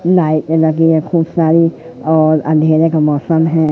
लाइटे लगी है खूब सारी और अंधेरे का मौसम है।